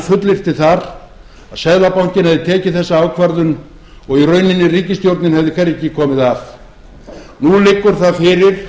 fullyrti þar að seðlabankinn hefði tekið þessa ákvörðun og í rauninni ríkisstjórnin hefði hvergi komið að nú liggur það fyrir